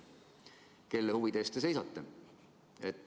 Kelle huvide eest te seisate?